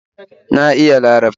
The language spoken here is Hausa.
Na iya Larabci